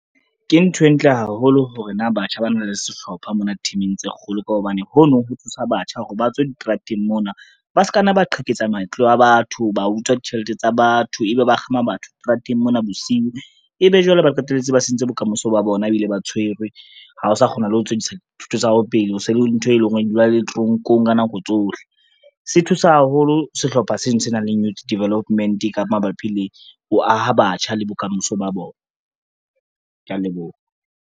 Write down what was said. Ke ntho e ntle haholo hore na batjha ba na le sehlopha mona team-ing tse kgolo, ka hobane ho no ho thusa batjha hore ba tswe diterateng mona, ba se ka nna ba qheketsa matlo a batho, ba utswa ditjhelete tsa batho, ebe ba kgama batho strateng mona bosiu, ebe jwale ba qetelletse ba sentse bokamoso ba bona ebile ba tshwerwe, ha o sa kgona le ho tswellisa dithuto tsa hao pele o se le ntho, e leng hore di dula le toronkong ka nako tsohle. Se thusa haholo sehlopha seno se nang le youth development ka mabapi le ho aha batjha le bokamoso ba bona, kea leboha.